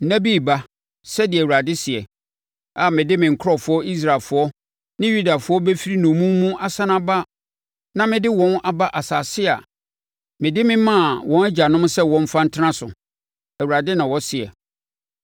Nna bi reba,’ sɛdeɛ Awurade seɛ, ‘a mede me nkurɔfoɔ Israelfoɔ ne Yudafoɔ bɛfiri nnommum mu asane aba na mede wɔn aba asase a mede me maa wɔn agyanom sɛ wɔmfa ntena so,’ Awurade na ɔseɛ.”